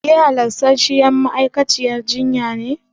Ke halastarciyar ma'aikaciyar jinya ce?